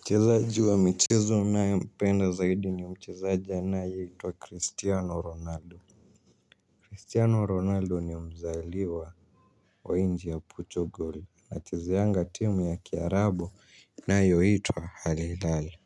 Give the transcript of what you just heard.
Mchezaji wa michizu ninayempenda zaidi ni mchizaji anaye itwa Cristiano Ronaldo Cristiano Ronaldo ni mzaliwa wa inji ya Portugal ana chezeanga timu ya Kiarabu inayoitwa Halilale.